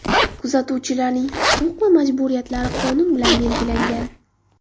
Kuzatuvchilarning huquq va majburiyatlari qonun bilan belgilangan.